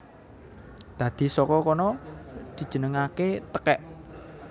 Dadi saka kono dijenengaké tekèk